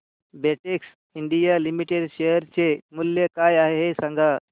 Betex India limited share चे मूल्य काय आहे हे सांगा